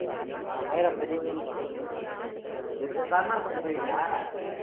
ஆஹ் மயிர புடுங்குன்றான் சேரி சரவணா ஸ்டோர் போயிருக்கியா